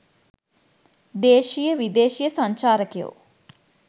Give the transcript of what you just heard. දේශීය විදේශීය සංචාරකයෝ